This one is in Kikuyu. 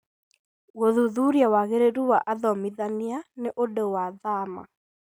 Gũthuthuria wagĩrĩru wa athomithania nĩ ũndũ wa thama.